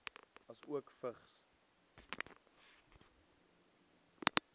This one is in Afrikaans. asook vigs